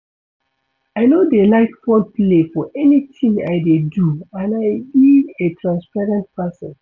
I no dey like foul play for anything I dey do and I be a transparent person